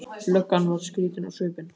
Löggan verður skrýtin á svipinn.